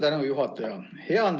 Suur tänu, juhataja!